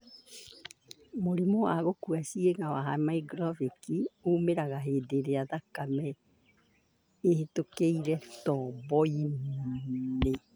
Mũrimũ wa gũkua ciĩga wa hemorrhagic ũmĩraga hĩndĩ ĩrĩá thakame ĩhĩtũkagĩra tobo-inĩ.